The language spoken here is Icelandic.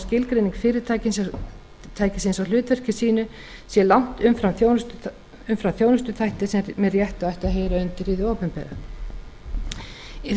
skilgreining fyrirtækisins á hlutverki sínu sé langt umfram þjónustuþætti sem með réttu ættu að heyra undir hið opinbera